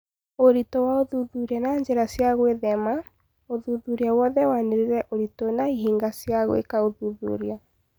ũritũ wa ũthuthuria na njĩra cia gũĩthema, ũthuthuria wothe wanĩrĩire ũritũ na ihĩngica cia gwĩka ũthuthuria.